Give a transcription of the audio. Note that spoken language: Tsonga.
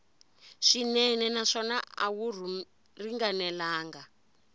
swinene naswona a wu ringanelangi